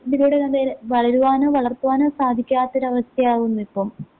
ഇതിലൂടെ വളരുവാനോ വളർത്തുവാനോ സാധിക്കാത്തൊരവസ്ഥയാവും ഇതിപ്പം